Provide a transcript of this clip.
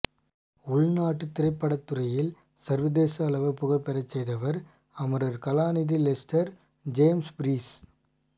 உள்நாட்டு திரைப்படத்துறையை சர்வதேச அளவில் புகழ்பெறச் செய்தவர் அமரர் கலாநிதி லெஸ்டர் ஜேம்ஸ் பீரிஸ்